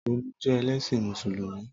Tọlú jẹ́ ẹlẹ́ṣin Mùsùlùmí